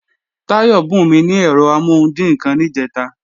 Táyọ̀ bùnmí ní ẹ̀rọ amọ́hundì kan níjẹ̀ta